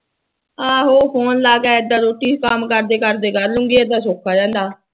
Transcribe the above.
ਆਹੋ ਫੋਨ ਲਾ ਕੇ ਐਦਾ ਰੋਟੀ ਕੰਮ ਕਰਦੇ ਕਰਦੇ ਫੋਨ ਲਾ ਲੂੰਗੀ ਐਦਾ ਸੋਖਾ ਹੁੰਦਾ ਐ